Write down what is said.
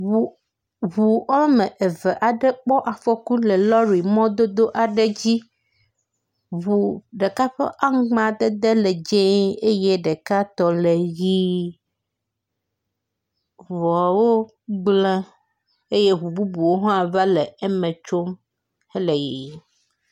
Ŋu ŋu wɔme eve aɖe kpɔ afɔku le lɔɖi mɔ aɖe dzi. Ŋu ɖeka ƒe amadede le dzi eye ɖeka tɔ le ʋi. Ŋuawo gble eye ŋu bubuwo hã va le eme tsom le yiyim.